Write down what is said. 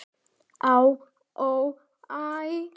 Á, ó, æ